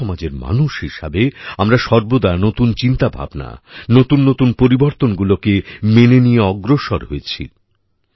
একই সমাজের মানুষ হিসেবে আমরা সর্বদা নতুন চিন্তা ভাবনা নতুন নতুন পরিবর্তনগুলোকে মেনে নিয়ে অগ্রসর হয়েছি